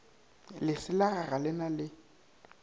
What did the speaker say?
leselaga ga le na le